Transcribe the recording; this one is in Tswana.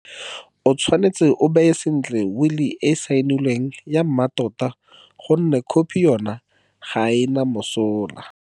O tshwanetse o baye sentle wili e e saenilweng ya mmatota gonne khophi ya yona ga e na mosola.